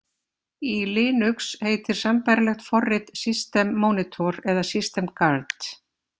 Í Linux heitir sambærilegt forrit System Monitor eða System Guard.